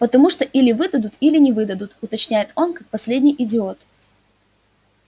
потому что или выдадут или не выдадут уточняет он как последний идиот